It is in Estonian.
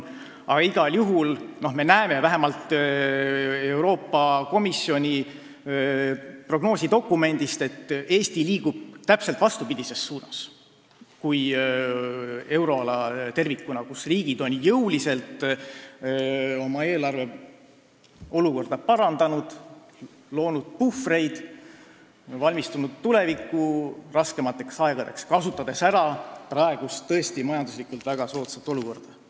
Aga igal juhul me näeme vähemalt Euroopa Komisjoni prognoosidokumendist, et Eesti liigub täpselt vastupidises suunas kui euroala tervikuna, kus riigid on jõuliselt oma eelarveolukorda parandanud, loonud puhvreid ja valmistunud tulevikus saabuvateks raskemateks aegadeks, kasutades ära praegust majanduslikult tõesti väga soodsat olukorda.